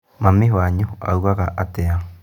Mami wanyu augaga atĩa?